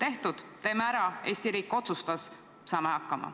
Otsus on tehtud, Eesti riik otsustas – teeme ära, saame hakkama.